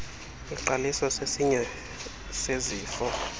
eqaliswa sesinye sezifo